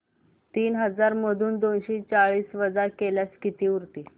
तीन हजार मधून दोनशे चाळीस वजा केल्यास किती उरतील